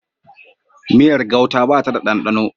Miyar gauta ba ta da ɗanɗano